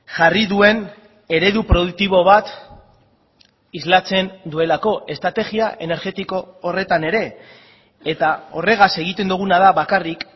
jarri duen eredu produktibo bat islatzen duelako estrategia energetiko horretan ere eta horregaz egiten duguna da bakarrik